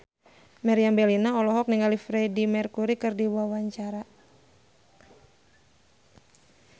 Meriam Bellina olohok ningali Freedie Mercury keur diwawancara